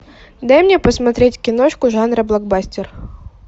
дай мне посмотреть киношку жанра блокбастер